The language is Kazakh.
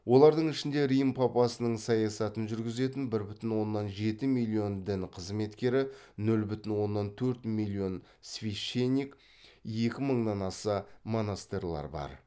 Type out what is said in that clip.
олардың ішінде рим папасының саясатын жүргізетін бір бүтін оннан жеті миллион дін қызметкері нөл бүтін оннан төрт миллион священник екі мыңнан аса монастырьлар бар